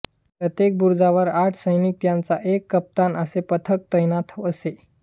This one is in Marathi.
प्रत्येक बुरुजावर आठ सैनिक त्यांचा एक कप्तान असे पथक तैनात असे